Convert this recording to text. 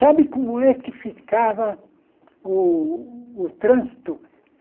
Sabe como é que ficava o o trânsito?